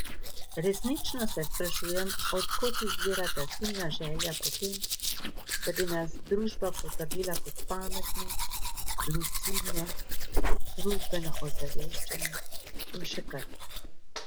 Resnično se sprašujem, od kod izvira ta silna želja po tem, da bi nas družba potrdila kot pametne, lucidne, družbeno ozaveščene in še kaj.